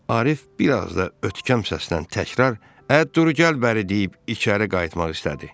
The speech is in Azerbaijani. Arif bir az da ötkəm səslə təkrar "ə, dur, gəl bəri" deyib içəri qayıtmaq istədi.